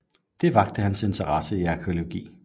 Det vakte hans interesse for arkæologi